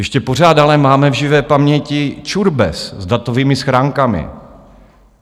Ještě pořád ale máme v živé paměti čurbes s datovými schránkami.